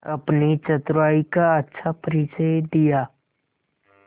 अपनी चतुराई का अच्छा परिचय दिया